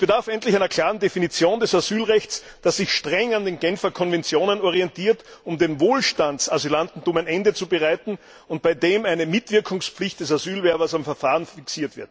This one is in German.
Es bedarf endlich einer klaren Definition des Asylrechts, die sich streng an der Genfer Konvention orientiert, um dem Wohlstandsasylantentum ein Ende zu bereiten, und bei der auch eine Mitwirkungspflicht des Asylwerbers am Verfahren fixiert wird.